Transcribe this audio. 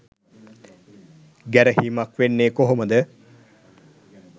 ගැරහීමක් වෙන්නේ කොහොමද?